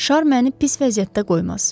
Şar məni pis vəziyyətdə qoymaz.